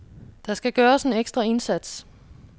Der skal gøres en ekstra indsats.